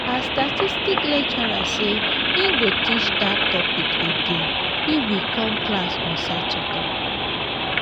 our statistics lecturer say he go teach dat topic again if we come class on saturday